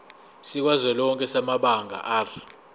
sikazwelonke samabanga r